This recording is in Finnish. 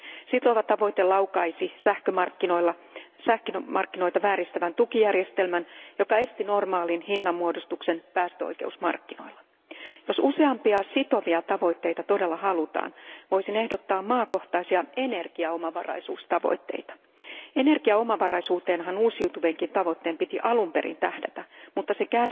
Sitova tavoite laukaisi sähkömarkkinoilla sähkömarkkinoita vääristävän tukijärjestelmän, joka esti normaalin hinnanmuodostuksen päästöoikeusmarkkinoilla. Jos useampia sitovia tavoitteita todella halutaan, voisin ehdottaa maakohtaisia energiaomavaraisuustavoitteita. Energiaomavaraisuuteenhan uusiutuvienkin tavoitteiden piti alun perin tähdätä, mutta